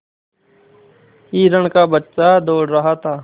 हिरण का बच्चा दौड़ रहा था